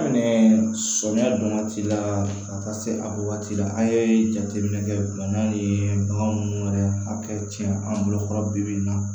Daminɛ sɔmiyɛ don waati la ka taa se a waati la a ye jateminɛ kɛ bana in ye bagan minnu yɛrɛ hakɛ tiɲɛ an bolo kɔrɔ bi bi in na